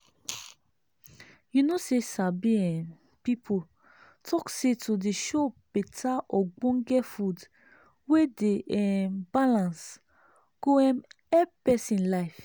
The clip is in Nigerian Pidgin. you know say sabi um people talk say to dey chow beta ogbonge food wey dey um balance go um help pesin life